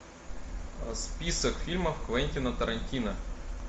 список фильмов квентина тарантино